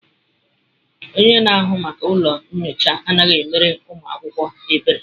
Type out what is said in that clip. Onye na-ahụ maka ụlọ nyocha anaghị emere ụmụ akwụkwọ ebere.